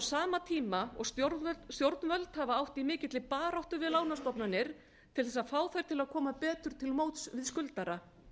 sama tíma og stjórnvöld hafa átt í mikilli baráttu við lánastofnanir til þess að fá þær til að koma betur til móts við skuldara